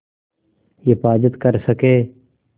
हिफ़ाज़त कर सकें